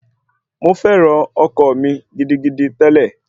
Mo fẹ́ran ọkọ mi gidigidi tẹ́lẹ̀